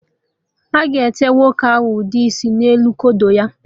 A ga-ete nwoke ahụ ụde isi n'elu kodo ya